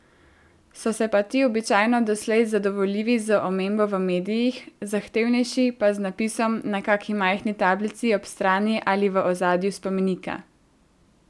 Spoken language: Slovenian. So se pa ti običajno doslej zadovoljili z omembo v medijih, zahtevnejši pa z napisom na kaki majhni tablici ob strani ali v ozadju spomenika.